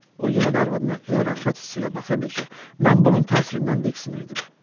O yenə də arvadına elə rəğbət hissi ilə baxırdı ki, mən bunun təsirindən diksinirdim.